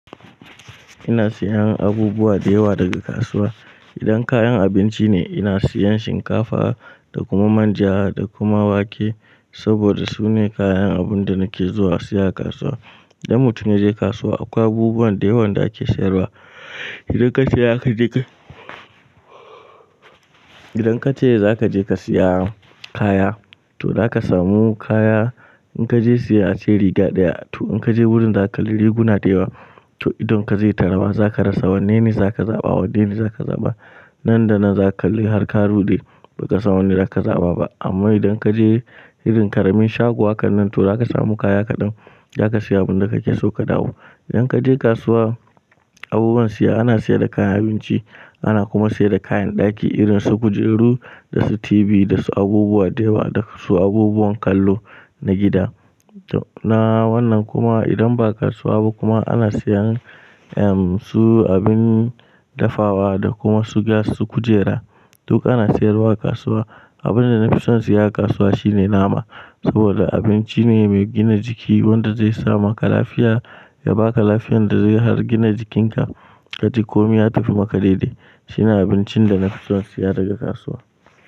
Ina siyan abubuwa da yawa daga kasuwa. Idan kayan abinci ne, ina sayan shinkafa da kuma manja da kuma wake saboda su ne kayan abin da nake zuwa siya a kasuwa. Idan mutum ya je kasuwa, akwai abubuwan da yawan da ake sayarwa. Idan kace za ka je ka, idan kace za ka je ka siya kaya, to zaka samu kaya. In kaje siya asiri gada ya, to in kaje wurin za ka riguna da yawa. To idon ka zai tarama za ka rasa. Wanne ne zaka zaɓa? Wande ne zaka zaɓa? Nan da nan za ka li har ka rude ba ka samu wanda za ka zaɓa ba. Amma idan kaje irin ƙaramin shago haka nan, to zaka samu kaya kaɗan. Zaka siya abin da kake so ka dawo. Idan kaje kasuwa abubuwan siya, ana sayar da kayan abinci, ana kuma sayar da kayan ɗaki irin su kujeru da su tibi da su abubuwa da yawa da su abubuwan kallo na gida. To na wannan kuma idan ba kasuwa ba kuma ana siyan, ehm, su abin dafawa da kuma su gas, su kujera, duk ana sayarwa a kasuwa. Abin da na fi son siya a kasuwa shine nama saboda abinci ne mai gina jiki wanda zai sama ka lafiya, ya baka lafiyar da zai har gina jikinka. Kaci komai ya tafi maka daidai. Shine abincin da na fi son siya daga kasuwa.